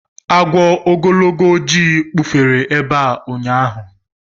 Agwọ ogologo ojii kpufere ebe a ụnyaahụ